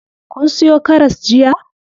Kun siyo karas jiya?